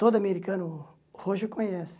Todo americano roxo conhece.